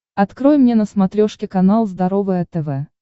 открой мне на смотрешке канал здоровое тв